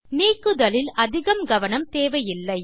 நீக்குதலில் அதிக கவனம் தேவையில்லை